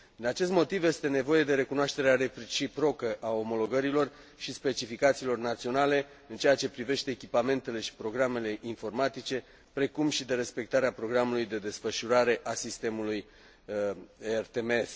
Din acest motiv, este nevoie de recunoașterea reciprocă a omologărilor și specificațiilor naționale în ceea ce privește echipamentele și programele informatice, precum și de respectarea programului de desfășurare a sistemului RTMS.